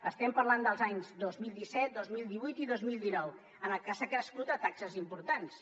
estem parlant dels anys dos mil disset dos mil divuit i dos mil dinou en què s’ha crescut en taxes importants